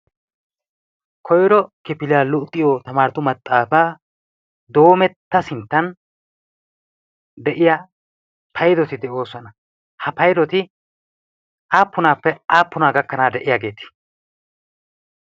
koiro kifilia luuxiyo tamaaratu maxaafaa doometta sinttan de'iya paydoti de'oosuwana ha paydoti aappunaappe aappunaa gakkanaa de'iyaageetii